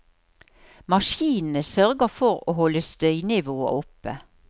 Maskinene sørger for å holde støynivået oppe.